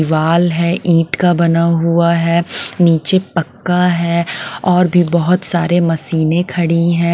दिवाल है ईंट का बना हुआ है नीचे पक्का है और भी बहुत सारे मशीनें खड़ी हैं।